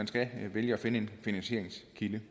skal vælge at finde en finansieringskilde